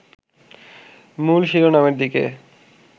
মূল শিরোনামের দিকে